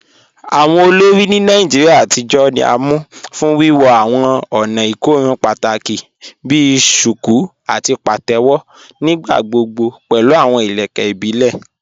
Awọn olórí ni Nàìjíríà àtijọ ni à mú fún wíwọ́ awọn ònà ikòrùn pátákì bí "shuku" àti "pàtẹwo," nígbàgbọ̀gbọ̀ pẹ̀lú awọn ilẹ̀kẹ̀ ìbílẹ̀.